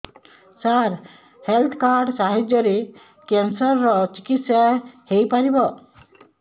ସାର health card ସାହାଯ୍ୟରେ cancer ର ଚିକିତ୍ସା ହେଇପାରିବ